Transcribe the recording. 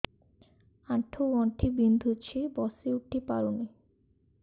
ଆଣ୍ଠୁ ଗଣ୍ଠି ବିନ୍ଧୁଛି ବସିଉଠି ପାରୁନି